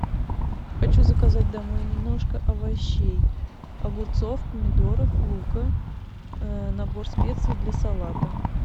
хочу заказать домой немножко овощей огурцов помидоров лука набор специй для салата